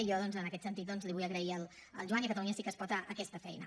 i jo doncs en aquest sentit li vull agrair al joan i a catalunya sí que es pot aquesta feina